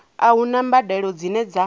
a huna mbadelo dzine dza